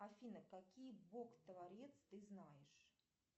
афина какие бог творец ты знаешь